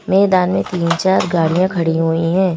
मैदान मे तीन चार गाड़िया खड़ी हुई है।